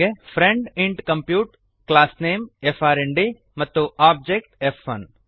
friend int compute class name friend ಮತ್ತು object ಫ್1